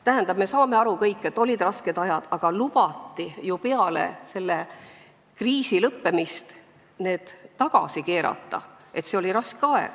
Tähendab, me kõik saame aru, et olid rasked ajad, aga peale kriisi lõppemist lubati ju need kärped tagasi keerata.